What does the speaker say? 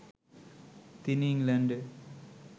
তিনি ইংল্যান্ডে